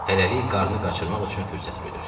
Hələlik qarnı qaçırmaq üçün fürsət güdür.